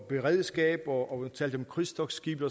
beredskab og talte om krydstogtskibe